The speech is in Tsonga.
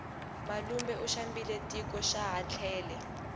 malume u xambile tiko xaha tlele